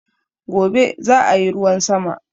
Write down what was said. Gobe zaayi ruwan sama